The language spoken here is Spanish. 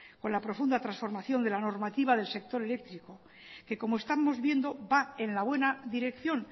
con la profunda transformación de la normativa del sector eléctrico que como estamos viendo va en la buena dirección